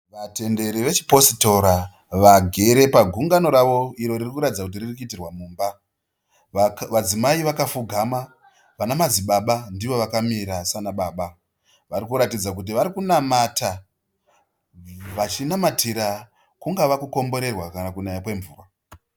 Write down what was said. Vatenderi vechipositora vagere pagungano ravo iro riri kuratidza kuti riri kuitirwa mumba vadzimai vakapfugama vana madzibaba ndivo vakamira sana baba vakuratidza kuti vari kunamata vachinamatira kungava kukomborerwa kana kunaya kwemvura